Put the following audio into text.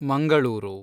Mangaluru